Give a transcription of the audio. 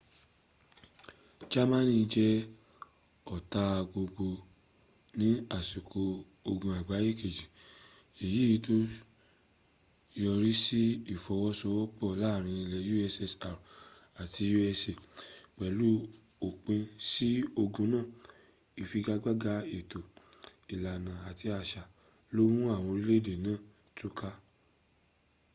jámánì jẹ ọ̀tá gbogbo ní àsìkò ogun àgbáyé kejì èyí tó yọrísí ìfọwọ́sowọ́pọ̀ láàrin ilẹ̀ ussr àti usa. pẹ̀lú òpin sí ogun náà ifigagbaga ètò ìlànà àti àṣà ló mú àwọn orílẹ̀-èdè náà túká